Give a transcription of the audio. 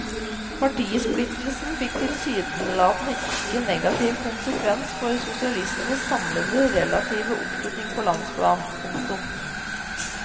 Partisplittelsene fikk tilsynelatende ikke negativ konsekvens for sosialistenes samlede relative oppslutning på landsplan. punktum